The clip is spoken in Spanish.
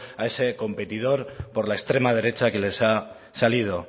a ese competidor por la extrema derecha que les ha salido